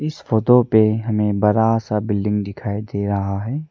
इस फोटो पे हमें बरा सा बिल्डिंग दिखाई दे रहा है।